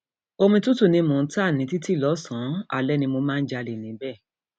omi tútù ni mò ń ta ní títì lọsànán alẹ ni mo máa ń jalè níbẹ